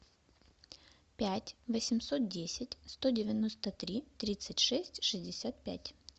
пять восемьсот десять сто девяносто три тридцать шесть шестьдесят пять